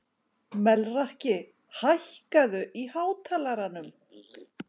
Melrakki, hækkaðu í hátalaranum.